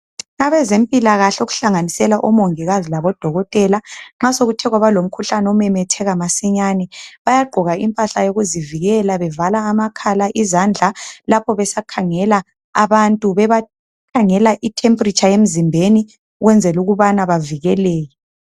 Abezempilakahle okuhlanganisela omongikazi labodokotela, nxa sekuthe kwaba lomkhuhlane omemetheka masinyane, bayagqoka impahla yozivikelayo bevala amakhala, izandla lapho besakhangela abantu bebakhangela i temperature emzimbeni ukwenzela ukubana bavikeleke.